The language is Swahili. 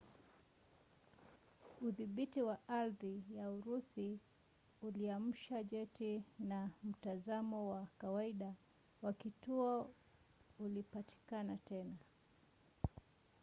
udhibiti wa ardhi wa urusi uliamsha jeti na mtazamo wa kawaida wa kituo ulipatikana tena